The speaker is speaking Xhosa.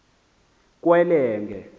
kwelenge